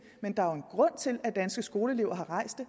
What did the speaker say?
men der er jo en grund til at danske skoleelever har rejst